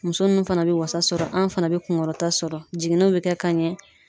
Muso nunnu fana be wasa sɔrɔ, anw fana be kunkɔrɔta sɔrɔ jiginniw be kɛ ka ɲɛ.